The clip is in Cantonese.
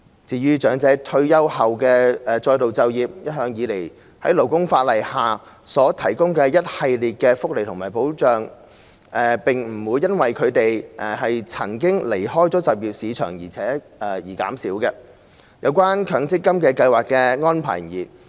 如果長者在退休後再度就業，可再次享有在勞工法例下所提供的一系列福利和保障，不會因為他們曾離開就業市場而減少；有關強制性公積金計劃的安排亦然。